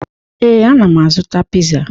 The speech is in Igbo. Ee, ana m azụta pizza.